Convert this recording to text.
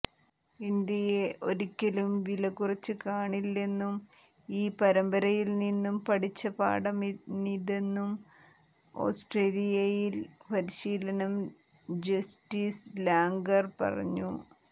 ഇന്ത്യയെ ഒരിക്കലും വില കുറച്ച് കാണില്ലെന്നും ഈ പരമ്പരയിൽനിന്നും പഠിച്ച പാഠമാണിതെന്നും ഓസ്ട്രേലിയൻ പരിശീലൻ ജസ്റ്റിൻ ലാംഗർ പറഞ്ഞു